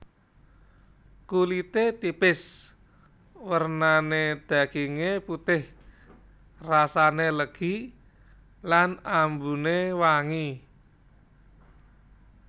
Kulite tipis wernane daginge putih rasane legi lan ambune wangi